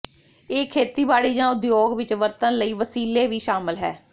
ਇਹ ਖੇਤੀਬਾੜੀ ਜ ਉਦਯੋਗ ਵਿੱਚ ਵਰਤਣ ਲਈ ਵਸੀਲੇ ਵੀ ਸ਼ਾਮਲ ਹੈ